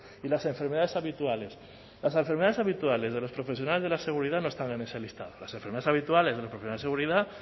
y las enfermedades habituales las enfermedades habituales de los profesionales de la seguridad no están en esa lista las enfermeras habituales de los profesionales de seguridad